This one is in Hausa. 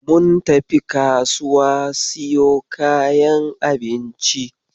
Mun tafi kasuwa siyo kayan abinci.